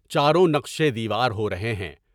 چاروں نقشیں دیوار ہو رہے ہیں۔